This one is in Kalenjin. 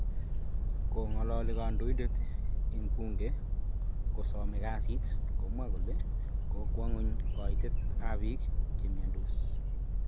Kong'alaali kandoindet ing' bunget kosomok kasi, komwaa kole kokwa ng'wuny kaaitet ap piik chemyandoos